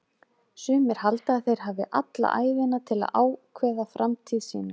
Sumir halda að þeir hafi alla ævina til að ákveða framtíð sína.